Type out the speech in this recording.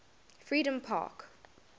freedompark